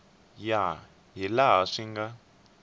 ya hi laha swi nga